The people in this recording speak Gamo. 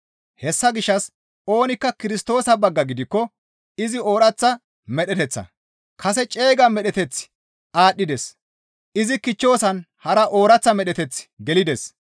Hessa gishshas oonikka Kirstoosa bagga gidikko izi ooraththa medheteththa; kase ceega medheteththi aadhdhides; izi kichchoosan hara ooraththa medheteththi gelides.